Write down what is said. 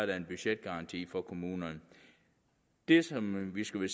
der en budgetgaranti for kommunerne det som vi skal